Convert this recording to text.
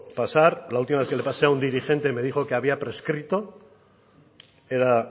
pasar la última vez que le pasé a un dirigente me dijo que había prescrito era